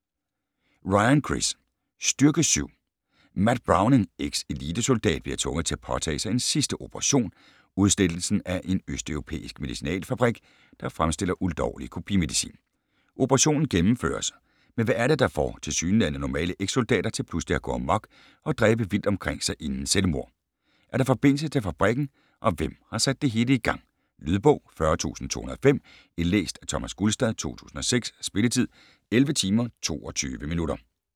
Ryan, Chris: Styrke Syv Matt Browning, eks-elitesoldat, bliver tvunget til at påtage sig en sidste operation, udslettelsen af en østeuropæisk medicinalfabrik, der fremstiller ulovlig kopimedicin. Operationen gennemføres, men hvad er det, der får tilsyneladende normale eks-soldater til pludselig at gå amok og dræbe vildt omkring sig inden selvmord. Er der forbindelse til fabrikken, og hvem har sat det hele i gang? Lydbog 40205 Indlæst af Thomas Gulstad, 2006. Spilletid: 11 timer, 22 minutter.